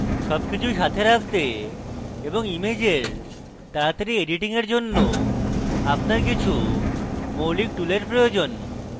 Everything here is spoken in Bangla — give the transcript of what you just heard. সবকিছু সাথে রাখতে ইমেজেস তাড়াতাড়ি editing এর জন্য আপনার কিছু মৌলিক টুলের প্রয়োজন